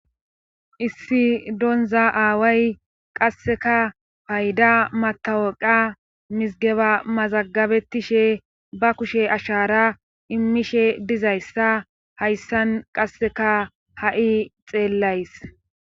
issi donza aaway qasseka payda matawoqa misgeba mazagabettishe ba kushe ashara immishe dizayssa hayssan qasseka ha'i xeellays